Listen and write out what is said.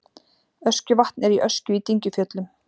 Öskjuvatn er í Öskju í Dyngjufjöllum.